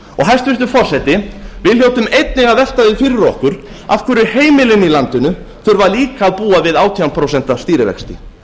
hæstvirtur forseti við hljótum einnig að velta því fyrir okkur af hverju heimilin í landinu þurfa líka að búa við átján prósent stýrivexti